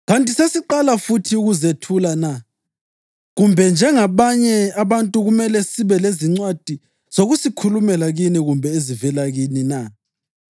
Kanti sesiqala futhi ukuzethula na? Kumbe njengabanye abantu kumele sibe lezincwadi zokusikhulumela kini kumbe ezivela kini na?